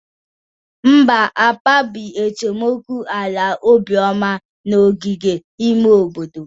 Mba, akpabi esemokwu ala Obioma n'ogige ime obodo.